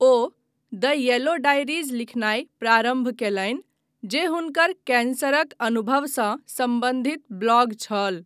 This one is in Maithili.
ओ द येलो डायरीज लिखनाय प्रारम्भ कयलनि, जे हुनकर कैन्सरक अनुभवसँ सम्बन्धित ब्लॉग छल।